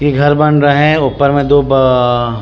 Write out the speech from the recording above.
ए घर बन रहा हैं ऊपर ब--